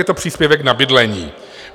Je to příspěvek na bydlení.